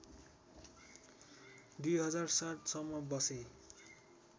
२००७ सम्म बसे